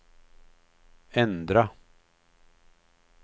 ändra